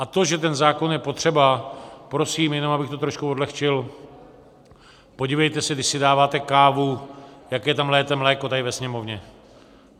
A to, že ten zákon je potřeba, prosím jenom, abych to trošku odlehčil: podívejte se, když si dáváte kávu, jaké tam lijete mléko tady ve Sněmovně.